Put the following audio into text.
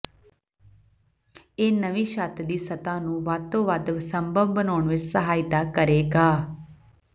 ਇਹ ਨਵੀਂ ਛੱਤ ਦੀ ਸਤ੍ਹਾ ਨੂੰ ਵੱਧ ਤੋਂ ਵੱਧ ਸੰਭਵ ਬਣਾਉਣ ਵਿੱਚ ਸਹਾਇਤਾ ਕਰੇਗਾ